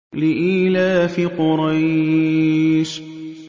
لِإِيلَافِ قُرَيْشٍ